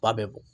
Ba bɛ bɔn